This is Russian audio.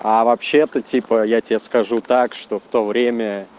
а вообще-то типа я тебе скажу так что в то время